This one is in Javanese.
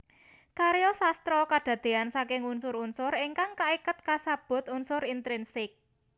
Karya sastra kedadeyan saking unsur unsur ingkang kaiket kasebut unsur intrinsik